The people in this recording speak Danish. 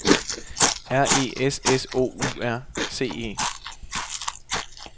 R E S S O U R C E